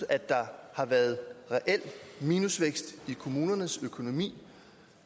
at der har været reel minusvækst i kommunernes økonomi